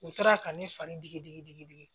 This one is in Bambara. U taara ka ne fari digi digi digi digi